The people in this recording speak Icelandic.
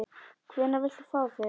Hvenær viltu fá þau?